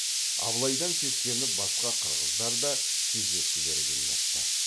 абылайдан сескеніп басқа қырғыздар да кездескілері келмепті